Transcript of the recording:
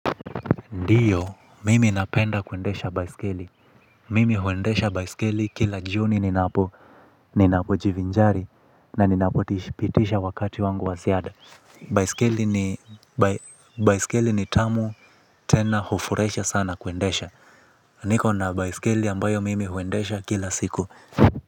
Ndiyo, mimi napenda kuendesha baiskeli. Mimi huendesha baiskeli kila jioni ninapo, ninapo jivinjari, na ninapopitisha wakati wangu wa ziada. Baiskeli ni tamu tena hufuraisha sana kuendesha. Niko na baiskeli ambayo mimi huendesha kila siku.